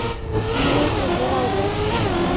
Í mikið ráðist